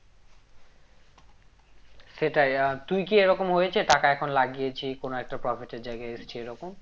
সেটাই আহ তুই কি এরকম হয়েছে টাকা এখন লাগিয়েছি কোনো একটা profit এর জায়গায় এসছি সেরকম